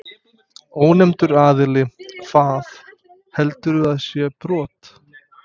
Ónefndur aðili: Hvað, heldurðu að það sé brot?